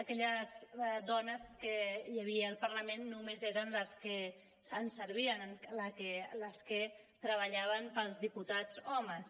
aquelles dones que hi havia al parlament només eren les que ens servien les que treballaven per als diputats homes